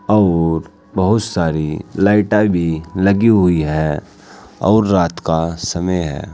और बहुत सारी लाइटा भी लगी हुई है और रात का समय है।